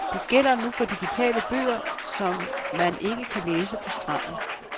Det gælder for digitale bøger, som man ikke kan læse på stranden.